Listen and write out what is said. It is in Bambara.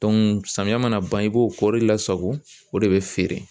samiyɛ mana ban i b'o kɔri lasago o de be feere